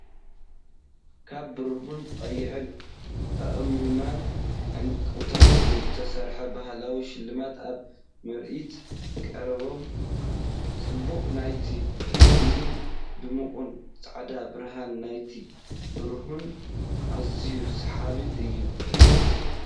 ካብ ብሩርን ቀይሕ ኣእማንን ዕንቁታትን ዝተሰርሑ ባህላዊ ሽልማት ኣብ ምርኢት ቀሪቦም። ጽባቐ ናይቲ ሉልን ድሙቕ ጻዕዳ ብርሃን ናይቲ ብሩርን ኣዝዩ ሰሓቢ እዩ።